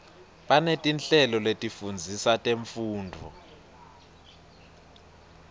banetinhlelo letifundzisa temfundvo